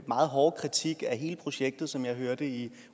meget hårde kritik af hele projektet som jeg hørte i